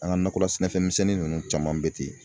An ka nakɔla sɛnɛfɛn misɛnnin ninnu caman bɛ ten